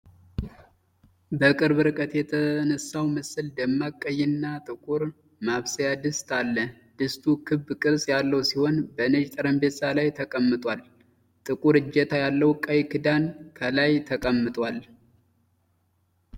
በቅርብ ርቀት የተነሳው ምስል ደማቅ ቀይና ጥቁር ማብሰያ ድስት አለ። ድስቱ ክብ ቅርጽ ያለው ሲሆን በነጭ ጠረጴዛ ላይ ተቀምጧል። ጥቁር እጀታ ያለው ቀይ ክዳን ከላይ ተቀምጧል።